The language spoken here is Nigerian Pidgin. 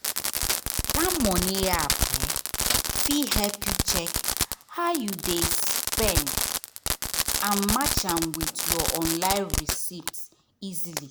that money app um fit help you check how you dey spend and match am with your online receipts easily.